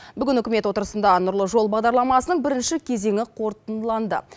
бүгін үкімет отырысында нұрлы жол бағдарламасының бірінші кезеңі қорытындыланды